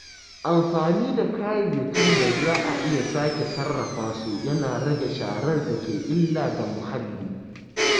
Amfani da kayayyakin da za a iya sake sarrafa su yana rage sharar da ke illa ga muhalli.